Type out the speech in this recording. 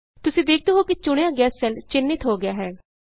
ਤੁਸੀਂ ਦੇਖਦੇ ਹੋ ਕਿ ਚੁਣਿਆ ਗਿਆ ਸੈੱਲ ਚਿਨ੍ਹਿੰਤ ਹੋ ਗਿਆ ਹੈ